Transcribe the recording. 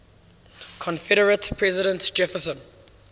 confederate president jefferson